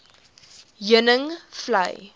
heuningvlei